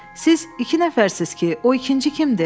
Siz iki nəfərsiz ki, o ikinci kimdir?